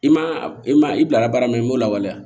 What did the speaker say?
I ma i ma i bilara baara min na i m'o lawaleya